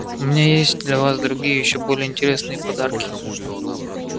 у меня есть для вас другие ещё более интересные подарки